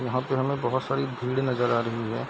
यहाँ पे हमें बहुत सारी भीड़ नजर आ रही है।